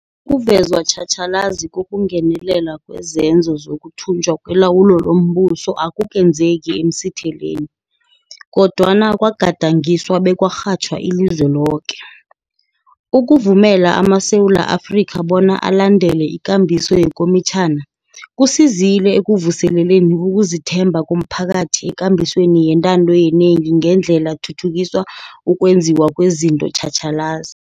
Ukuvezwa tjhatjhalazi kokungenelela kwezenzo zokuthunjwa kwelawulo lombuso akukenzeki emsitheleni, kodwana kwa gadangiswa bekwarhatjhwa ilizwe loke. Ukuvumela amaSewula Afrika bona alandele ikambiso yekomitjhana, kusizile ekuvuseleleni ukuzithemba komphakathi ekambisweni yentando yenengi ngendlela thuthukiswa ukwenziwa kwezinto tjhatjhalazi.